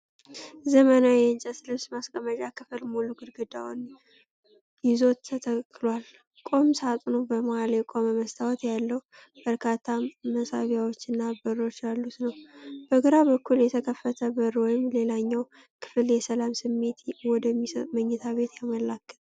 ዘመናዊ የእንጨት ልብስ ማስቀመጫ ክፍል ሙሉ ግድግዳውን ይዞ ተተክሏል። ቁም ሳጥኑ በመሃል የቆመ መስታወት ያለው፣ በርካታ መሳቢያዎችና በሮች ያሉት ነው። በግራ በኩል የተከፈተ በር ወደ ሌላኛው ክፍል የሰላም ስሜት ወደሚሰጥ መኝታ ቤት ያመላክታል።